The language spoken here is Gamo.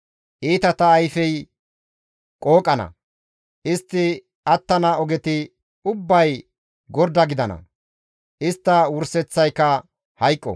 Iitata ayfey qooqana; istti attana ogeti ubbay gorda gidana; istta wurseththayka hayqo.»